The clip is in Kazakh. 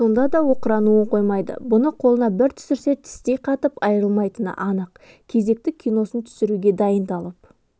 сонда да оқырануын қоймайды бұны қолына бір түсірсе тістей қатып айрылмайтыны анық кезекті киносын түсіруге дайындалып